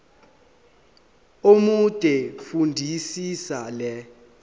omude fundisisa le